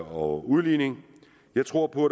og udligning jeg tror på